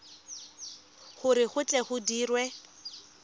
gore go tle go dirwe